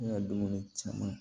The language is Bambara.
Ne ka dumuni caman